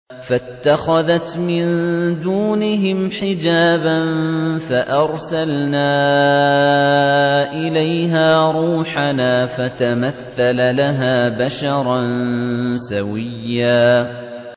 فَاتَّخَذَتْ مِن دُونِهِمْ حِجَابًا فَأَرْسَلْنَا إِلَيْهَا رُوحَنَا فَتَمَثَّلَ لَهَا بَشَرًا سَوِيًّا